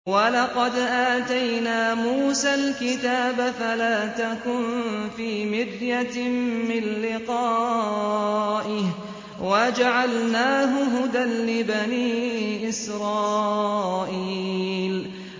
وَلَقَدْ آتَيْنَا مُوسَى الْكِتَابَ فَلَا تَكُن فِي مِرْيَةٍ مِّن لِّقَائِهِ ۖ وَجَعَلْنَاهُ هُدًى لِّبَنِي إِسْرَائِيلَ